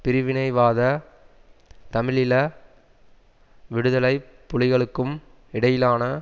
பிரிவினைவாத தமிழீழ விடுதலை புலிகளுக்கும் இடையிலான